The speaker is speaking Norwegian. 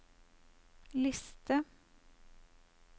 liste